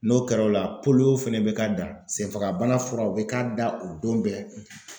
N'o kɛra o la fɛnɛ bɛ k'a dan senfagabana furaw bɛ k'a da o don bɛɛ.